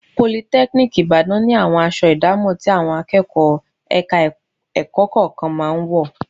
Politẹ́kíníìkì Ìbàdàn ni àwọn aṣọ àdámọ̀ tí àwọn akẹ́kọ̀ọ́ ẹ̀ka-ẹ̀kọ́ kọ̀ọ̀kan máa ń wọ̀